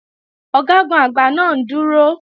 Ọ̀gágun-Àgbá náà ń dúró